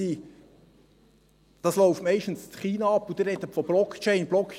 Das läuft meistens in China ab, und Sie sprechen von Blockchains.